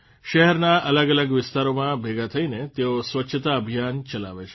શહેરના અલગઅલગ વિસ્તારોમાં ભેગા થઇને તેઓ સ્વચ્છતા અભિયાન ચલાવે છે